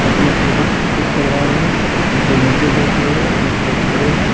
अपना फोटोशूट करवा रहे हैं कुछ लोग नीचे बैठे हुए हैं कुछ लोग खड़े हैं।